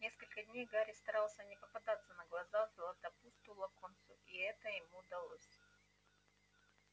несколько дней гарри старался не попадаться на глаза златопусту локонсу и это ему удавалось